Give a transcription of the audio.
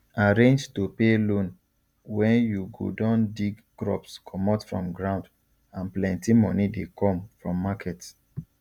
arrange to pay loan when you go don dig crops comot from ground and plenty moni dey come from market